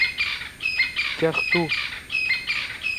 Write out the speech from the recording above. кяхту